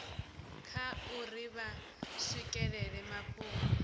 kha uri vha swikelela mafhungo